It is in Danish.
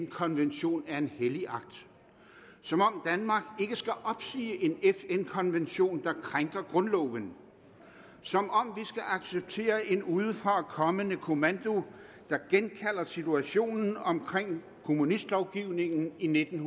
konvention er en hellig akt som om danmark ikke skal opsige en fn konvention der krænker grundloven som om vi skal acceptere en udefrakommende kommando der genkalder situationen omkring kommunistlovgivningen i nitten